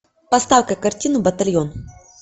поставь ка картину батальон